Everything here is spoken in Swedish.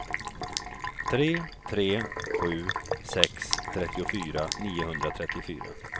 tre tre sju sex trettiofyra niohundratrettiofyra